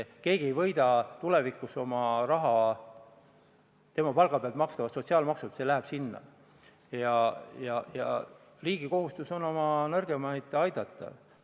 Tema palga pealt makstavad sotsiaalmaksud lähevad sinna ja riigi kohustus on oma nõrgemaid aidata.